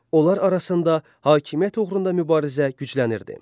Onlar arasında hakimiyyət uğrunda mübarizə güclənirdi.